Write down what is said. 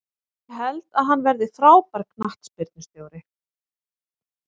Ég held að hann verði frábær knattspyrnustjóri.